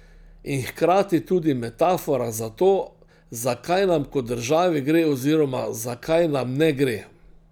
In hkrati tudi metafora za to, za kaj nam kot državi gre oziroma za kaj nam ne gre.